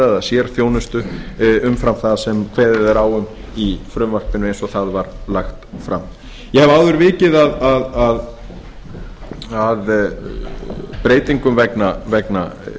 að halda eða sérþjónustu umfram það sem kveðið er á um í frumvarpinu eins og það var lagt fram ég hef áður vikið að breytingum vegna